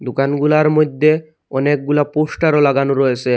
দুকানগুলার মইধ্যে অনেকগুলা পোস্টারও লাগানো রয়েসে।